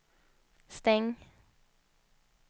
stäng